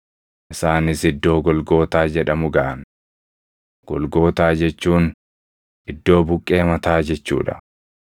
Isaanis iddoo Golgootaa jedhamu gaʼan; Golgootaa jechuun “Iddoo buqqee mataa” jechuu dha.